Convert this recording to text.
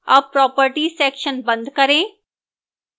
अब properties section बंद करें